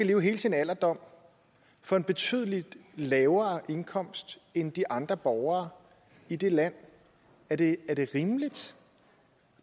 leve hele sin alderdom for en betydelig lavere indkomst end de andre borgere i det land er det rimeligt